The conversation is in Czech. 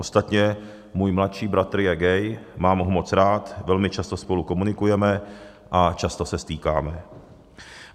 Ostatně můj mladší bratr je gay, mám ho moc rád, velmi často spolu komunikujeme a často se stýkáme.